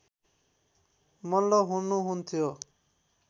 मल्ल हुनुहुन्थ्यो